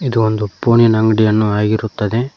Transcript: ಇದು ಒಂದು ಫೋನ್ ಇನ ಅಂಗಡಿಯನ್ನು ಆಗಿರುತ್ತದೆ.